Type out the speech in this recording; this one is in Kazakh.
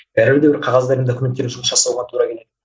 бәрібір де бір қағаздармен документтермен жұмыс жасауға тура келеді